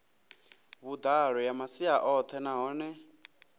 vhuḓalo ya masia oṱhe nahone